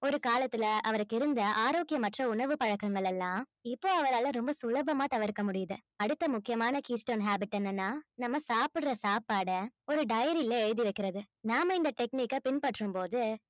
ஒரு காலத்துல அவருக்கு இருந்த ஆரோக்கியமற்ற உணவு பழக்கங்கள் எல்லாம் இப்போ அவராலே ரொம்ப சுலபமா தவிர்க்க முடியுது அடுத்த முக்கியமான keystone habit என்னன்னா நம்ம சாப்பிடுற சாப்பாடை ஒரு diary ல எழுதி வைக்கிறது நாம இந்த technic ஐ பின்பற்றும்போது